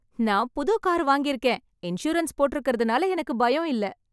நான் புது கார் வங்கியிருகேன் இன்சூரன்ஸ் போட்ருக்கறதுனால எனக்கு பயம் இல்ல